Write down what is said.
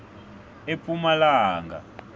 epumalanga